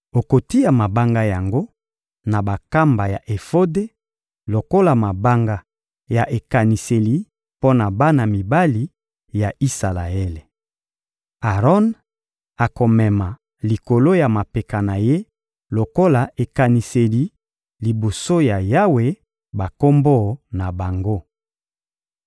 Okotia mabanga yango na bankamba ya efode lokola mabanga ya ekaniseli mpo na bana mibali ya Isalaele. Aron akomema likolo ya mapeka na ye lokola ekaniseli liboso ya Yawe bakombo na bango.